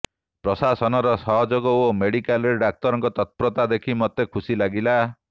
ପ୍ରଶାସନର ସହଯୋଗ ଓ ମେଡିକାଲରେ ଡାକ୍ତରଙ୍କ ତତ୍ପରତା ଦେଖି ମୋତେ ଖୁସି ଲାଗିଲା